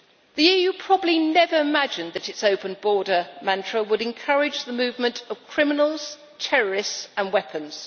The EU probably never imagined that its open border mantra would encourage the movement of criminals, terrorists and weapons.